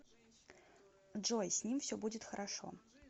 джой с ним все будет хорошо